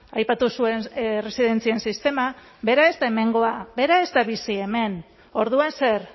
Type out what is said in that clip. aipatu zuen erresidentzien sistema bera ez da hemengoa bera ez da bizi hemen orduan zer